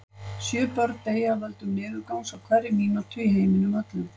Sjö börn deyja af völdum niðurgangs á hverri mínútu í heiminum öllum.